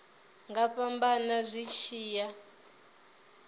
nga fhambana zwi tshi ya